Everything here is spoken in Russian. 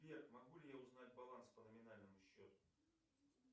сбер могу ли я узнать баланс по номинальному счету